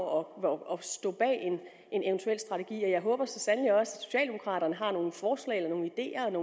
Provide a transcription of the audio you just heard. og stå bag en eventuel strategi jeg håber så sandelig også at socialdemokraterne har nogle forslag eller nogle ideer eller